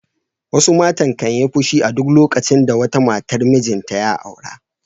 Wasu matan kan yi fushi a duk lokacin da wata matar mijinta ya aura.